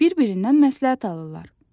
Bir-birindən məsləhət alırlar.